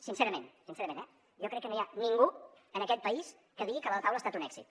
sincerament sincerament eh jo crec que no hi ha ningú en aquest país que digui que la taula ha estat un èxit